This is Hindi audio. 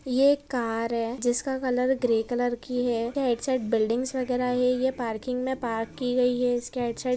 ये एक कार है जिसका कलर ग्रे कलर की है एक साइड बिल्डिंग्स वगेरा है ये पार्किंग मे पार्क की यी है इसके --